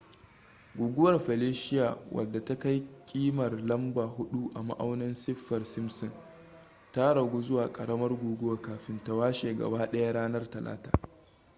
guguwar felicia wadda ta kai kimar lamba 4 a ma'aunin saffir-simpson ta ragu zuwa karamar guguwa kafin ta washe gaba daya ranar talata